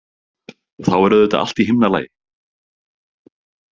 Og þá er auðvitað allt í himnalagi.